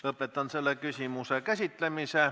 Lõpetan selle küsimuse käsitlemise.